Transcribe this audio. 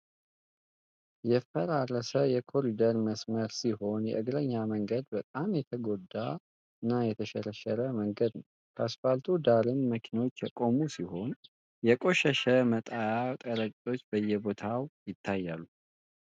የፈራረሰ የኮሪደር መስመር ሲሆን የ እግረኛው መንገድ በጣም የተጎዳና የተሸረሸረ መንገድ ነው ። ከአስፓልቱ ዳርም መኪኖች የቆሙ ሲሆን የ ቆሻሻ መጣያ ቀረጢጦች በየቦታው ይታያሉ።